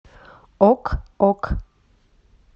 ок ок